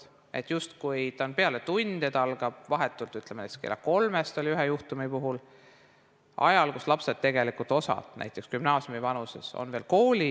See justkui on peale tunde, see algab näiteks kella kolmest, nagu oli ühe juhtumi puhul, ajal, kui lapsed osalt, näiteks gümnaasiumivanuses lapsed, olid veel koolis.